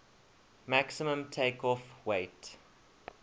maximum takeoff weight